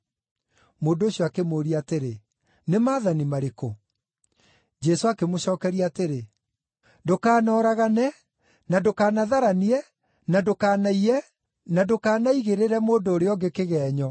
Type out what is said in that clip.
Mũndũ ũcio akĩmũũria atĩrĩ, “Nĩ maathani marĩkũ?” Jesũ akĩmũcookeria atĩrĩ, “ ‘Ndũkanoragane, na ndũkanatharanie, na ndũkanaiye, na ndũkanaigĩrĩre mũndũ ũrĩa ũngĩ kĩgeenyo,